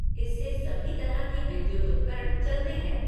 इससे सभी तरह के विद्युत उपकरण चलते हैं।